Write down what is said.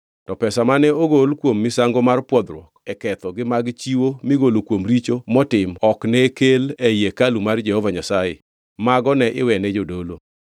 To pesa mane ogol kuom misango mar pwodhruok e ketho gi mag chiwo migolo kuom richo motim ok ne kel ei hekalu mar Jehova Nyasaye, mago ne iwene jodolo.